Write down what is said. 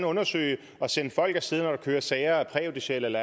undersøge det og sende folk af sted når der køres sager af præjudiciel